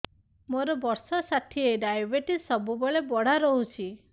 ମୋର ବର୍ଷ ଷାଠିଏ ଡାଏବେଟିସ ସବୁବେଳ ବଢ଼ା ରହୁଛି